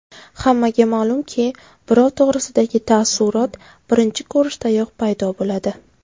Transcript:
Hammaga ma’lumki, birov to‘g‘risidagi taassurot birinchi ko‘rishdayoq paydo bo‘ladi.